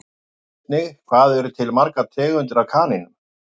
Sjá einnig Hvað eru til margar tegundir af kanínum?